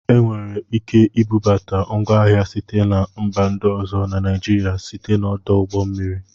Enwere ike ibubata ngwa ahịa sitere na mba ndị ọzọ na Naijiria site n'ọdụ ụgbọ mmiri